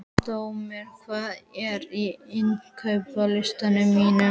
Dominik, hvað er á innkaupalistanum mínum?